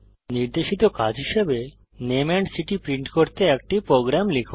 নির্দেশিত কাজ হিসাবে নামে এন্ড সিটি প্রিন্ট করতে একটি প্রোগ্রাম লিখুন